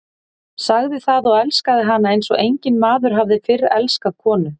Sagði það og elskaði hana eins og enginn maður hafði fyrr elskað konu.